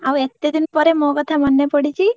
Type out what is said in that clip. ଆଉ ଏତେଦିନ ପରେ ମୋ କଥା ମନେ ପଡିଛି?